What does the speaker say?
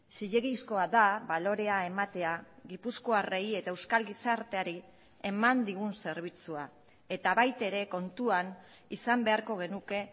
zilegizkoa da balorea ematea gipuzkoarrei eta euskal gizarteari eman digun zerbitzua eta baita ere kontuan izan beharko genuke